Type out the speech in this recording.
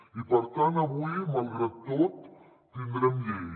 i per tant avui malgrat tot tindrem llei